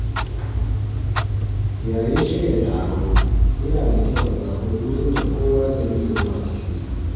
Yayin shirya taro, yana da kyau a zaɓi wurin da kowa zai iya zuwa cikin sauƙi.